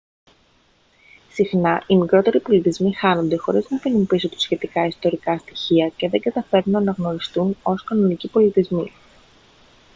συχνά οι μικρότεροι πολιτισμοί χάνονται χωρίς να αφήσουν πίσω τους σχετικά ιστορικά στοιχεία και δεν καταφέρνουν να αναγνωριστούν ως κανονικοί πολιτισμοί